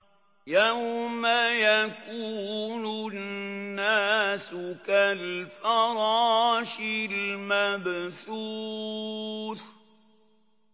يَوْمَ يَكُونُ النَّاسُ كَالْفَرَاشِ الْمَبْثُوثِ